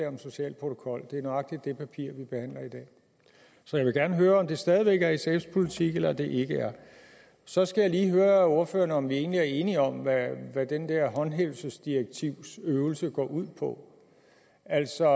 om en social protokol det er nøjagtig det papir vi behandler i dag så jeg vil gerne høre om det stadig væk er sfs politik eller det ikke er så skal jeg lige høre ordføreren om vi egentlig er enige om hvad den der håndhævelsesdirektivsøvelse går ud på altså